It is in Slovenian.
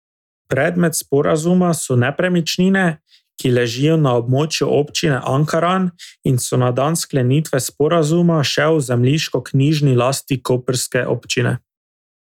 Predmet sporazuma so nepremičnine, ki ležijo na območju Občine Ankaran in so na dan sklenitve sporazuma še v zemljiškoknjižni lasti koprske občine.